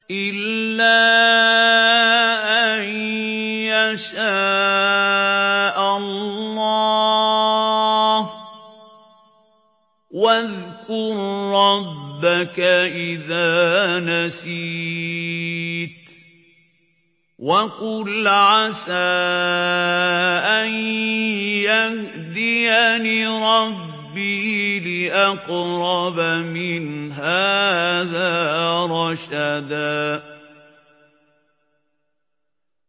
إِلَّا أَن يَشَاءَ اللَّهُ ۚ وَاذْكُر رَّبَّكَ إِذَا نَسِيتَ وَقُلْ عَسَىٰ أَن يَهْدِيَنِ رَبِّي لِأَقْرَبَ مِنْ هَٰذَا رَشَدًا